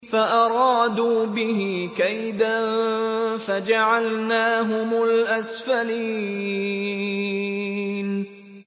فَأَرَادُوا بِهِ كَيْدًا فَجَعَلْنَاهُمُ الْأَسْفَلِينَ